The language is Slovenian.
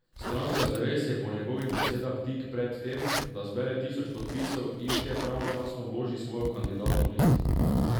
Stranka Zares je po njegovih besedah tik pred tem, da zbere tisoč podpisov in še pravočasno vloži svojo kandidatno listo.